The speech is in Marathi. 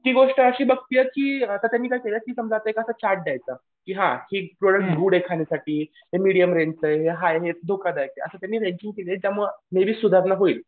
ती गोष्ट अशी बघतीये की आता त्यांनी काय द्यायचं. की हां गुड आहे खाण्यासाठी. हे मिडीयम रेंज चं आहे हे प्लेन अशी त्यांनी त्यामुळं सुधारणा होईल.